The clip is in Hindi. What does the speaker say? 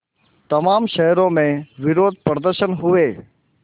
तमाम शहरों में विरोधप्रदर्शन हुए